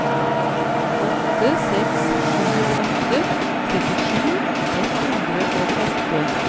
åtte seks sju åtte trettisju ett hundre og åtte